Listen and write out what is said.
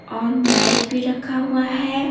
और बाइक भी रखा हुआ है।